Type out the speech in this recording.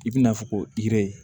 I bina fɔ ko i